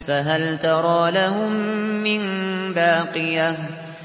فَهَلْ تَرَىٰ لَهُم مِّن بَاقِيَةٍ